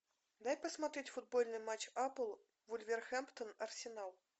дай посмотреть футбольный матч апл вулверхэмптон арсенал